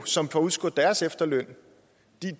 som får udskudt deres efterløn